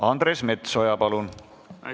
Andres Metsoja, palun!